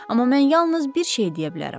Amma mən yalnız bir şeyi deyə bilərəm.